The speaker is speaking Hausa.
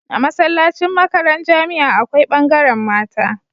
A masallacin makaran jamia akwai bangaran mata